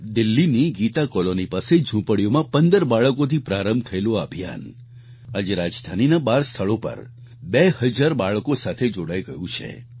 દિલ્હીની ગીતા કોલોની પાસે ઝુંપડીઓમાં 15 બાળકોથી પ્રારંભ થયેલું આ અભિયાન આજે રાજધાનીના 12 સ્થળો પર 2 હજાર બાળકો સાથે જોડાઈ ગયું છે